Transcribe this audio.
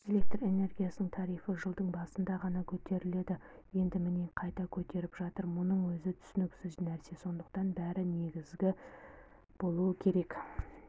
электр энергиясының тарифі жылдың басында ғана көтерілді енді міне қайта көтеріп жатыр мұның өзі түсініксіз нәрсе сондықтан бәрі негізді болуы керек